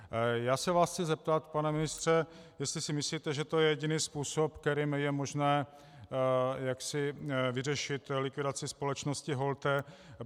Já se vás chci zeptat, pane ministře, jestli si myslíte, že to je jediný způsob, kterým je možné vyřešit likvidaci společnosti Holte.